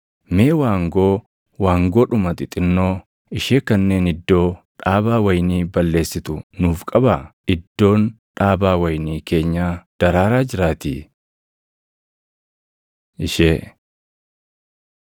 Mee waangoo, waangoodhuma xixinnoo ishee kanneen iddoo dhaabaa wayinii balleessitu nuuf qabaa; iddoon dhaabaa wayinii keenyaa daraaraa jiraatii. Ishee